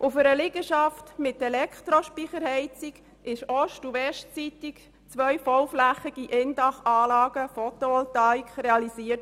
Für eine Liegenschaft mit Elektrospeicherheizung wurden ost- und westseitig zwei bauflächig verlegte PhotovoltaikIndach-Anlagen realisiert.